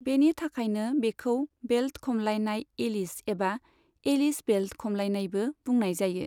बेनि थाखायनो बेखौ 'बेल्ट खमलायनाय एलिश' एबा 'एलिश बेल्ट खमलायनाय'बो बुंनाय जायो।